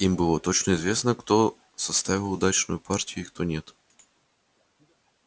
им было точно известно кто составил удачную партию и кто нет